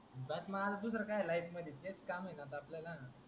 बस मग आता दुसर काय life मध्ये तेच काम आहे न आता आपल्याला.